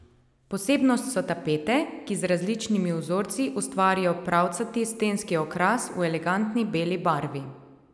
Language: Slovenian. Posebnost so tapete, ki z različnimi vzorci ustvarijo pravcati stenski okras v elegantni beli barvi.